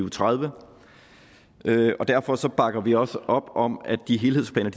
og tredive derfor bakker vi også op om at de helhedsplaner